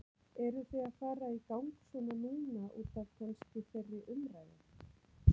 Eru þið að fara í gang svona núna útaf kannski þeirri umræðu?